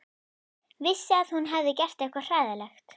Vissi að hún hafði gert eitthvað hræðilegt.